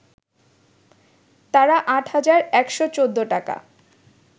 তাঁরা ৮ হাজার ১১৪ টাকা